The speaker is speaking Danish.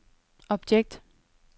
objekt